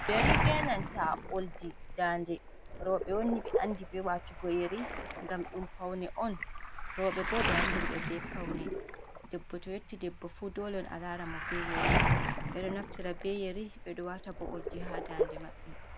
Yeri be nanta a oldi dande roɓe woni ɓe andi be watugo yeri gam ɗum paune on roɓe bo ɓe andirɓe be paune debbo to yotti debbo fu dole a lara mo be yeri ɓedo naftira be yeri ɓe ɗo wata bo oldi ha dande maɓɓe.